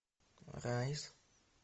райс